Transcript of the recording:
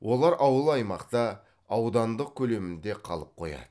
олар ауыл аймақта аудандық көлемінде қалып қояды